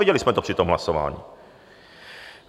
Viděli jsme to při tom hlasování.